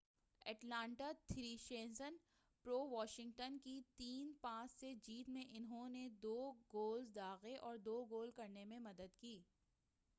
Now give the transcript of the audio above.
Atlanta Thrashers پر Washington کی 5-3 سے جیت میں انہوں نے 2 گولز داغے اور 2 گول کرنے میں مدد کی